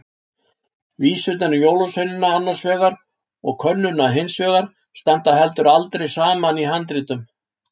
Vísurnar um jólasveinana annars vegar og könnuna hins vegar standa heldur aldrei saman í handritum.